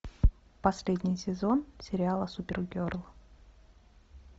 последний сезон сериала супергерл